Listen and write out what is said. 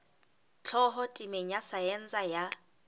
tlhaho temeng ya saense ya